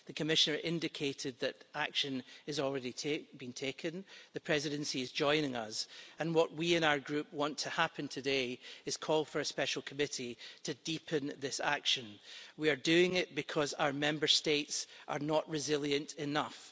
The Commissioner indicated that action is already being taken, the Presidency is joining us, and what we in our group want to happen today is a call for a special committee to deepen this action. We are doing this because our Member States are not resilient enough.